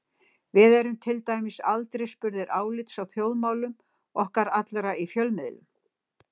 Við erum til dæmis aldrei spurðir álits á þjóðmálunum okkar allra í fjölmiðlum.